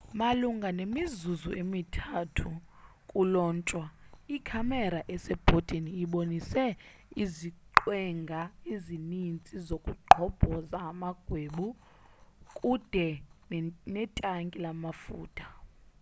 malunga nemizuzu emi-3 kulontshwe ikhamera esebhodini ibonise iziqwenga ezininzi zokugqobhoza amagwebu kude netanki lamafutha